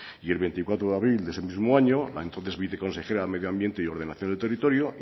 y el veinticuatro de abril de ese mismo año la entonces viceconsejera de medio ambiente y ordenación del territorio